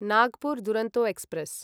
Nagpur Duronto express